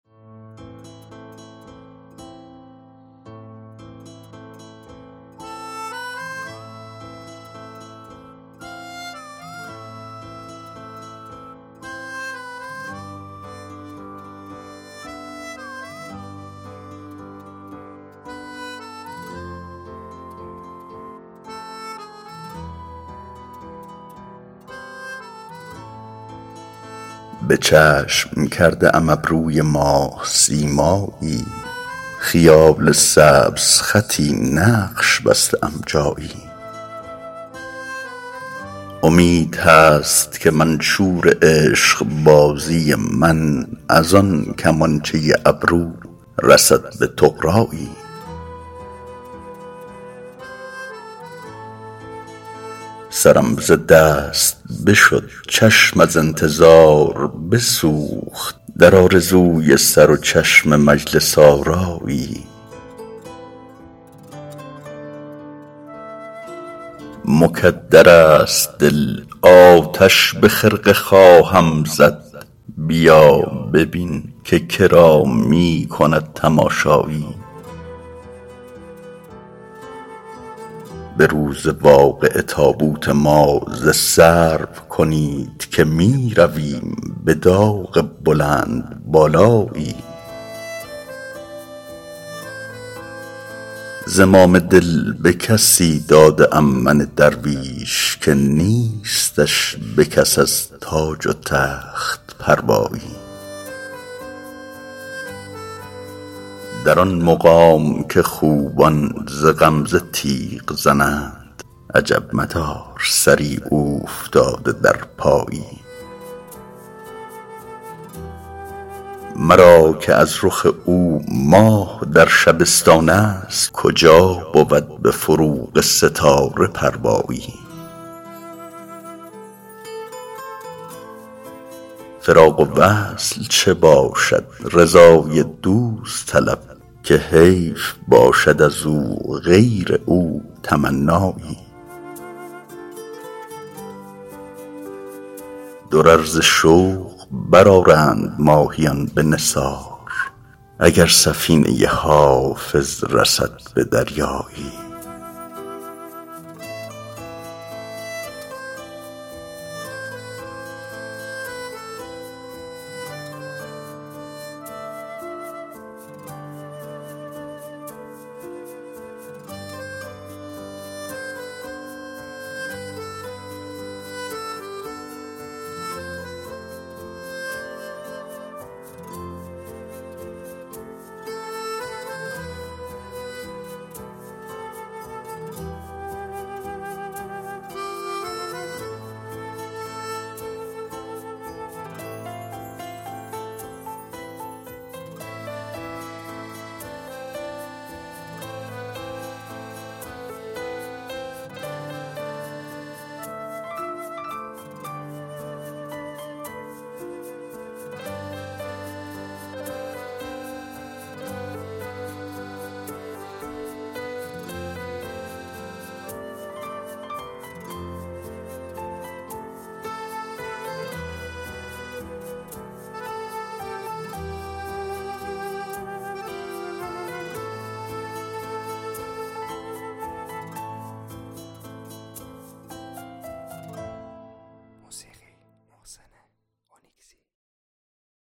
به چشم کرده ام ابروی ماه سیمایی خیال سبزخطی نقش بسته ام جایی امید هست که منشور عشق بازی من از آن کمانچه ابرو رسد به طغرایی سرم ز دست بشد چشم از انتظار بسوخت در آرزوی سر و چشم مجلس آرایی مکدر است دل آتش به خرقه خواهم زد بیا ببین که کرا می کند تماشایی به روز واقعه تابوت ما ز سرو کنید که می رویم به داغ بلندبالایی زمام دل به کسی داده ام من درویش که نیستش به کس از تاج و تخت پروایی در آن مقام که خوبان ز غمزه تیغ زنند عجب مدار سری اوفتاده در پایی مرا که از رخ او ماه در شبستان است کجا بود به فروغ ستاره پروایی فراق و وصل چه باشد رضای دوست طلب که حیف باشد از او غیر او تمنایی درر ز شوق برآرند ماهیان به نثار اگر سفینه حافظ رسد به دریایی